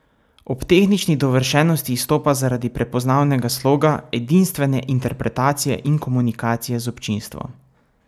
Ob tehnični dovršenosti izstopa zaradi prepoznavnega sloga, edinstvene interpretacije in komunikacije z občinstvom.